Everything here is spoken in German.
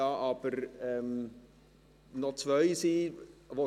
Da wir aber nur noch zwei Minuten haben …